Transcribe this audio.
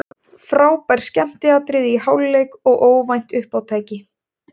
Frábær skemmtiatriði í hálfleik og óvænt uppátæki.